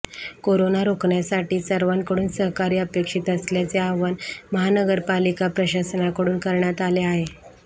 corona रोखण्यासाठी सर्वांकडून सहकार्य अपेक्षित असल्याचे आवाहन महानगरपालिका प्रशासनाकडून करण्यात आले आहे